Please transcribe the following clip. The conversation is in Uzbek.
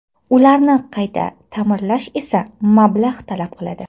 Ularni qayta ta’mirlash esa mablag‘ talab qiladi.